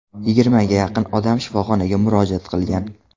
Yigirmaga yaqin odam shifoxonaga murojaat qilgan.